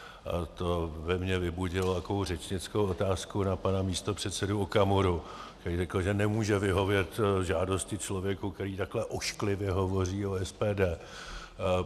A to ve mně vybudilo takovou řečnickou otázku na pana místopředsedu Okamuru, který řekl, že nemůže vyhovět žádosti člověka, který takhle ošklivě hovoří o SPD.